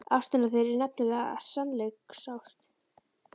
Ástin á þér er nefnilega sannleiksást.